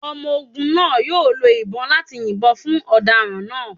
Ọmọ ogun naa yoo lo ibon lati yinbọn fun ọdaràn naa